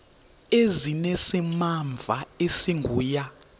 ezinesimamva esingu ya